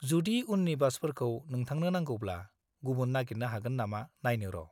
जुदि उननि बासफोरखौ नोंथांनो नांगौब्ला, गुबुन नागिरनो हागोन नामा नायनो र'।